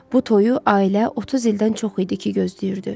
Bu toyu ailə 30 ildən çox idi ki, gözləyirdi.